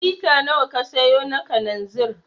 Lita nawa ka sayo na kalanzir?